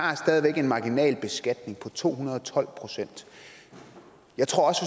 en marginalbeskatning på to hundrede og tolv procent jeg tror også